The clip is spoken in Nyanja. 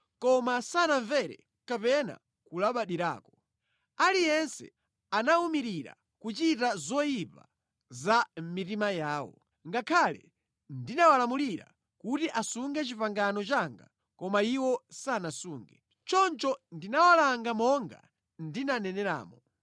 Koma sanamvere kapena kulabadirako. Aliyense anawumirira kuchita zoyipa za mʼmitima yawo. Ngakhale ndinawalamulira kuti asunge pangano langa koma iwo sanasunge. Choncho ndinawalanga monga ndinaneneramo.’ ”